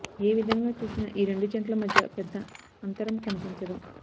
ఏ విధంగా చూసినా ఈ రెండు జట్ల మధ్య పెద్ద అంతరం కనిపించదు